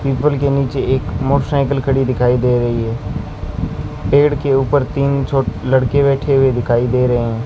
People के नीचे एक मोटरसाइकिल खड़ी हुई दिखाई दे रही है पेड़ के ऊपर तीन छो लड़के बैठे हुए दिखाई दे रहे हैं।